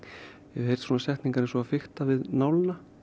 ég hef heyrt svona setningar eins og að fikta við nálina